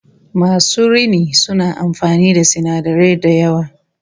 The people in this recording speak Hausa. Masu rini suna amfani da sinadarai da yawa